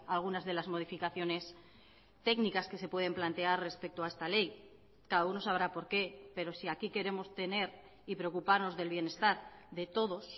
a algunas de las modificaciones técnicas que se pueden plantear respecto a esta ley cada uno sabrá por qué pero si aquí queremos tener y preocuparnos del bienestar de todos